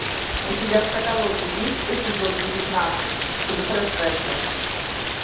у тебя в каталоге есть эпизод девятнадцать три процента